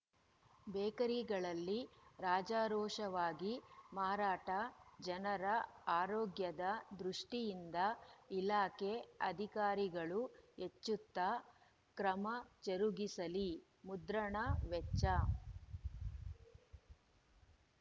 ಬೇಕರಿಗಳಲ್ಲಿ ರಾಜಾರೋಷವಾಗಿ ಮಾರಾಟ ಜನರ ಆರೋಗ್ಯದ ದೃಷ್ಠಿಯಿಂದ ಇಲಾಖೆ ಅಧಿಕಾರಿಗಳು ಎಚ್ಚೆತ್ತು ಕ್ರಮ ಜರುಗಿಸಲಿ ಮುದ್ರಣ ವೆಚ್ಚ